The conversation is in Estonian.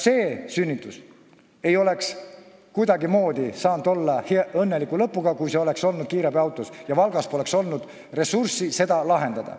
See sünnitus ei oleks kuidagimoodi õnneliku lõpuga olla saanud, kui see oleks vastu võetud kiirabiautos ja Valgas poleks olnud ressurssi olukorda lahendada.